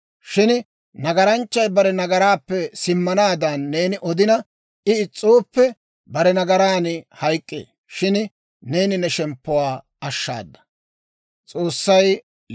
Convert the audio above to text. Shin nagaranchchay bare nagaraappe simmanaadan neeni odina, I is's'ooppe, bare nagaran hayk'k'ee; shin neeni ne shemppuwaa ashshaada.